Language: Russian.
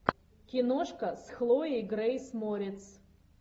киношка с хлоей грейс морец